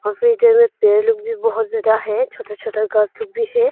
पेड़ लोग भी बहुत ज्यादा है छोटा छोटा घास लोग भी है।